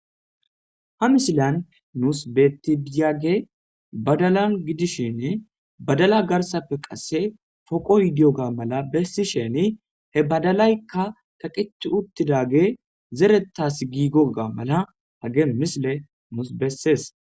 Ha misilan nuus betibiyage badalan gidishinne badala garsafe qasse foqo yidiyo ga mala bessi sheni he badalaykka kaqeti uttidage zerettas giigoga mala hage misile nuus bessees.